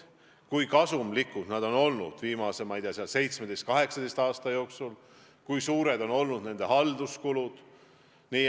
Ma ei tea, kui kasumlikud need on olnud viimase 17–18 aasta jooksul, kui suured on olnud nende halduskulud.